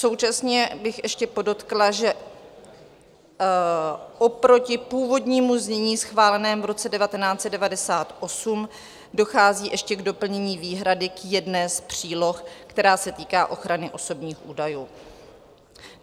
Současně bych ještě podotkla, že oproti původnímu znění schválenému v roce 1998 dochází ještě k doplnění výhrady k jedné z příloh, která se týká ochrany osobních údajů.